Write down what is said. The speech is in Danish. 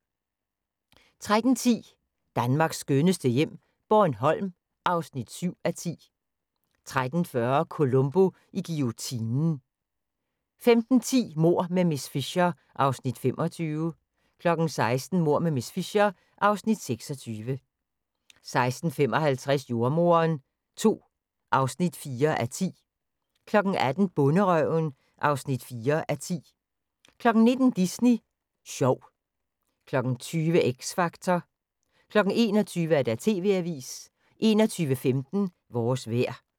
13:10: Danmarks skønneste hjem - Bornholm (7:10) 13:40: Columbo i guillotinen 15:10: Mord med miss Fisher (Afs. 25) 16:00: Mord med miss Fisher (Afs. 26) 16:55: Jordemoderen II (4:10) 18:00: Bonderøven (4:10) 19:00: Disney Sjov 20:00: X Factor 21:00: TV-avisen 21:15: Vores vejr